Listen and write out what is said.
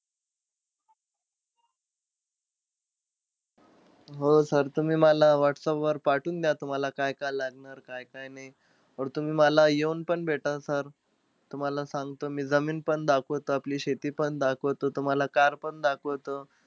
हो sir तुम्ही मला whatsapp पाठवून द्या, तूम्हाला काय-काय लागणार काय-काय नाई. तुम्ही मला येऊन पण भेटा sir. तुम्हाला सांगतो मी जमीनपण दाखवतो, आपली शेतीपण दाखवतो, तुम्हाला car पण दाखवतो.